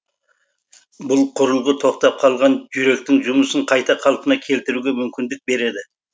бұл құрылғы тоқтап қалған жүректің жұмысын қайта қалпына келтіруге мүмкіндік береді